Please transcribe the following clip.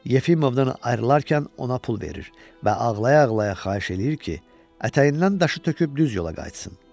Yefimovdan ayrılarkən ona pul verir və ağlayıa-ağlayıa xahiş eləyir ki, ətəyindən daşı töküb düz yola qayıtsın.